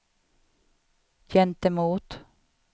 gentemot